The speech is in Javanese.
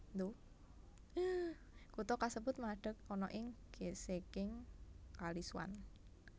Kutha kasebut madeg ana ing gisiking Kali Swan